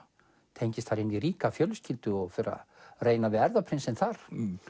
tengist inn í ríka fjölskyldu og fer að reyna við erfðaprinsinn þar